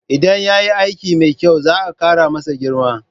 Idan ya yi aiki mai kyau, za'a kara masa girma